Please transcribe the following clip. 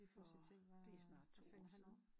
For det er snart 2 år siden